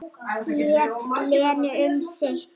Lét Lenu um sitt.